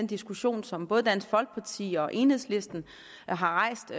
diskussion som både dansk folkeparti og enhedslisten har rejst